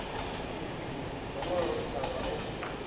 i ḽi ḽisi ḓongololothavha o